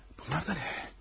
Bunlar da nə?